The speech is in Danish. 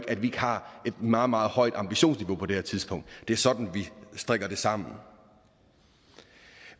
at vi ikke har et meget meget højt ambitionsniveau på det her tidspunkt det er sådan vi strikker det sammen